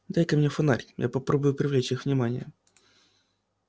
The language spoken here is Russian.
дай-ка мне фонарь я попробую привлечь их внимание